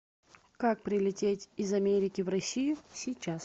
как прилететь из америки в россию сейчас